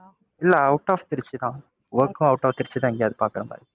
இல்ல out of Trichy தான் work உம் out of திருச்சிதான் எங்கயாவது பாக்குற மாதிரி.